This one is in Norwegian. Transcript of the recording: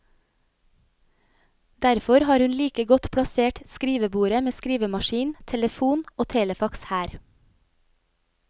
Derfor har hun like godt plassert skrivebordet med skrivemaskin, telefon og telefax her.